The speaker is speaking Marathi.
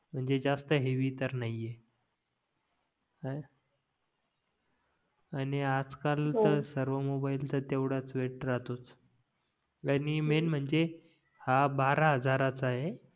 म्हणजे जास्त हेवी तर नाहीये हा आणि आज काळ च्या सर्व मोबाईल चा तेव्हडाच वेट राहतोच आणि मेंन म्हणजे हा बारा हजाराचा आहे